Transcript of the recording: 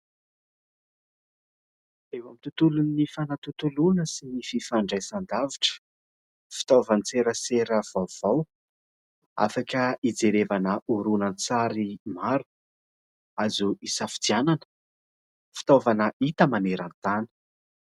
Eo amin'ny tontolon'ny fanatontoloana sy ny fifandraisan-davitra, fitaovan-tserasera vaovao afaka hijerevana horonan-tsary maro azo hisafidianana, fitaovana hita maneran-tany.